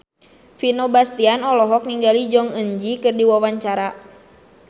Vino Bastian olohok ningali Jong Eun Ji keur diwawancara